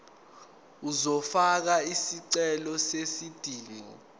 uzofaka isicelo sezidingo